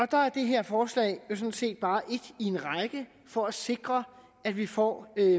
der er det her forslag jo sådan set bare et i en række for at sikre at vi får